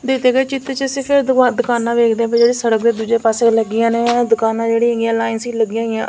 ਦਿੱਤੇ ਗਏ ਚਿੱਤਰ ਚ ਅਸੀਂ ਫਿਰ ਦੁਕਾ ਦੁਕਾਨਾਂ ਵੇਖਦੇ ਪਏ ਆ ਜਿਹੜੇ ਸੜਕ ਦੇ ਦੂਜੇ ਪਾਸੇ ਲੱਗੀਆਂ ਹੋਈਆਂ ਨੇ ਇਹ ਦੁਕਾਨਾਂ ਜਿਹੜੀ ਹੈਗੀਆਂ ਲਾਈਨਸ ਚ ਲੱਗੀਆਂ ਹੋਈਆਂ --